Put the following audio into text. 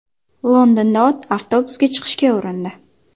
Londonda ot avtobusga chiqishga urindi .